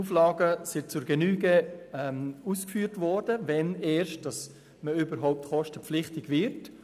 Es wurde zur Genüge ausgeführt, ab wann es kostenpflichtig wird.